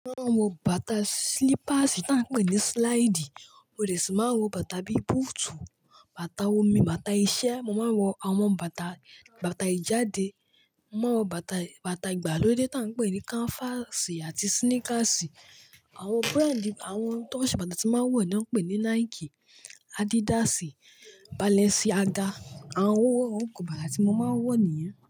Mo máa ń wọ bàtà slippers tí à ń pè ní slide, mo de sì máa ń wọ bàtà bí boot, bàtà omi, bàtà iṣẹ́, mo máa ń wọ àwọn bàtà, bàtà ìjáde, mo máa ń wọ bàtà, bàtà ìgbàlódé tí à ń pè ní canvas àti sneakers. Àwọn brand, àwọn tó ń ṣe bàtà tí mo máa ń wọ̀ náà n pè ní Nike, Adidas, Balenciaga. Àwọn oruko báta tí mo máa ń wọ nìyẹn.